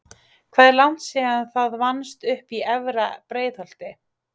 Hvað er langt síðan það vannst uppi í efra Breiðholti?